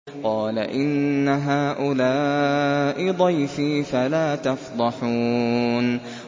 قَالَ إِنَّ هَٰؤُلَاءِ ضَيْفِي فَلَا تَفْضَحُونِ